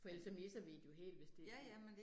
For ellers så misser vi det jo helt, hvis det